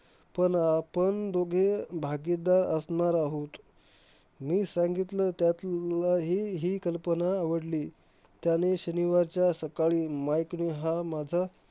पण आपण दोघे भागीदार असणार आहोत. मी सांगितलं त्यात लाही हि कल्पना आवडली. त्याने शनिवारच्या सकाळी माईकने हा माझा